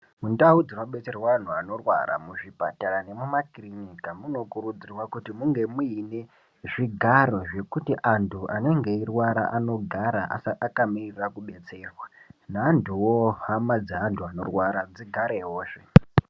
Mundau dzinobetserwa antu anorwara muzvipatara nemuma kirinika munokurudzirwa kuti munge muine zvigaro zvekuti antu anonga eirwara anogara akamirira kubetserwa. Neantuvo hama dzevantu vanorwara dzigarevozve.